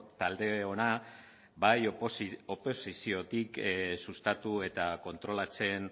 taldeona bai oposiziotik sustatu eta kontrolatzen